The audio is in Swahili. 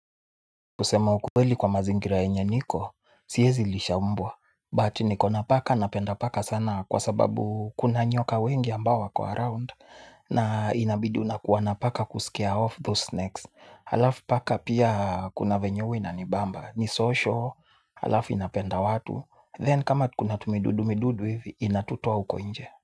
Kusema ukweli kwa mazingira yenye niko, siezilisha mbwa, but niko na paka napenda paka sana kwa sababu kuna nyoka wengi ambao wako around, na inabidi unakuwa na paka kuscare off those snakes. Halafu paka pia kuna venye huwa inanibamba, ni social, halafu inapenda watu, then kama kuna tumidudu midudu hivi, inatutoa huko nje.